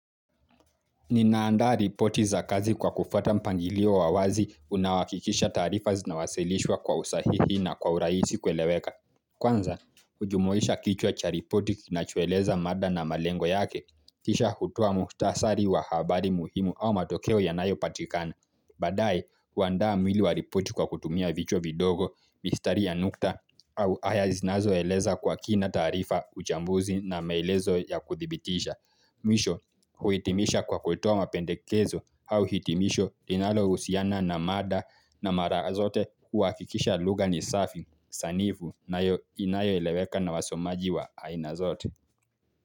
Ninaanda ripoti za kazi kwa kufuata mpangilio wa wazi unaohakikisha taarifa zinawasilishwa kwa usahihi na kwa urahisi kueleweka. Kwanza, hujumuisha kichwa cha ripoti kinachoeleza mada na malengo yake. Kisha kutoa muhtasari wa habari muhimu au matokeo yanayopatikana. Baadaye, huandaa mwili wa ripoti kwa kutumia vichwa vidogo, mistari ya nukta, au haya zinazoeleza kwa kina taarifa uchambuzi na maelezo ya kudhibitisha. Mwisho kuhitimisha kwa kutoa mapendekezo au hitimisho linalohusiana na mada na mara zote kuhakikisha lugha ni safi sanifu na inayoeleweka na wasomaji wa aina zote.